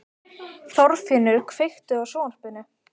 Gaf hann þessari tilhneigingu nafnið andleg fegrun eftir á.